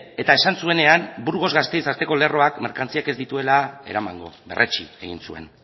eta esan zuenean burgos gasteiz tarteko lerroak merkantziak ez dituela eramango berretsi egin zuen